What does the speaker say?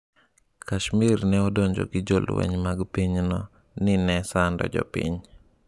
Kashmir ne odonjo gi jolweny mag pinyno ni ne sando jopiny